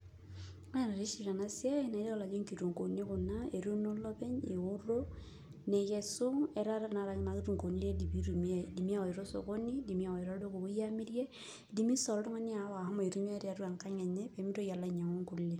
Ore noshi tenasiai nayiolo ajo nkitunkuuni kuna, etuuno olopeny, eoto, nekesu etaa tanakata kuna kitunkuuni ready pitumiai. Idimi awaita osokoni, idim awaita olduka opoi amirie, idimi si oltung'ani aawa ahomo aitumia tiatua enkang enye, pemitoki alo ainyang'u nkulie.